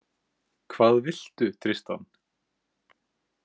Hvað viltu, Tristan?